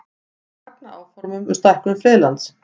Fagna áformum um stækkun friðlands